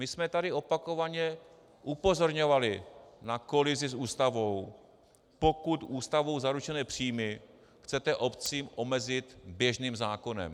My jsme tady opakovaně upozorňovali na kolizi s Ústavou, pokud Ústavou zaručené příjmy chcete obcím omezit běžným zákonem.